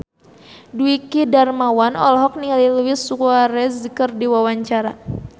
Dwiki Darmawan olohok ningali Luis Suarez keur diwawancara